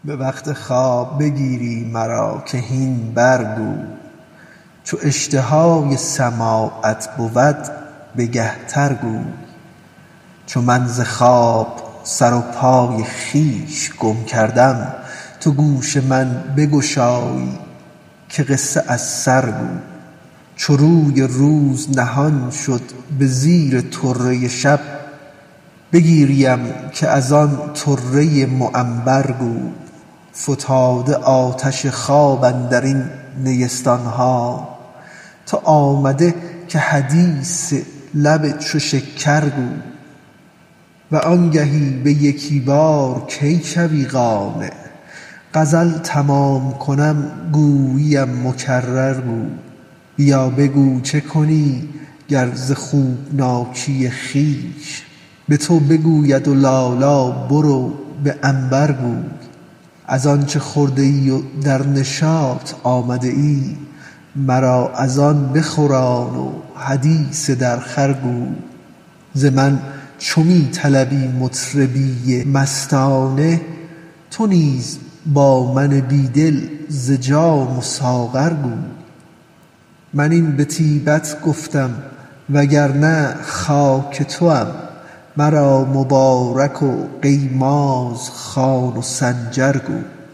به وقت خواب بگیری مرا که هین برگو چو اشتهای سماعت بود بگه تر گو چو من ز خواب سر و پای خویش گم کردم تو گوش من بگشایی که قصه از سر گو چو روی روز نهان شد به زیر طره شب بگیریم که از آن طره معنبر گو فتاده آتش خواب اندر این نیستان ها تو آمده که حدیث لب چو شکر گو و آنگهی به یکی بار کی شوی قانع غزل تمام کنم گوییم مکرر گو بیا بگو چه کنی گر ز خوابناکی خویش به تو بگوید لالا برو به عنبر گو از آنچ خورده ای و در نشاط آمده ای مرا از آن بخوران و حدیث درخور گو ز من چو می طلبی مطربی مستانه تو نیز با من بی دل ز جام و ساغر گو من این به طیبت گفتم وگر نه خاک توام مرا مبارک و قیماز خوان و سنجر گو